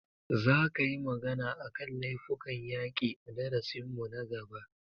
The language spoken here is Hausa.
Za ka yi magana a kan laifukan yaƙi a darasin mu na gaba?